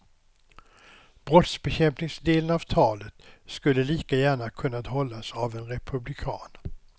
Brottsbekämpningsdelen av talet skulle lika gärna ha kunnat hållas av en republikan.